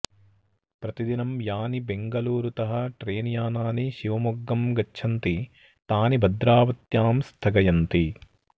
प्रतिदिनं यानि बेङगलूरुतः ट्रेनयानानि शिवमोग्गं गच्छन्ति तानि भद्रावत्यां स्थगयन्ति